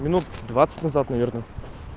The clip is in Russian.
минут двадцать назад наверное